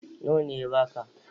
Nawa ne ya baka?